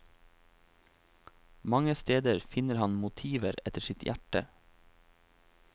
Mange steder finner han motiver etter sitt hjerte.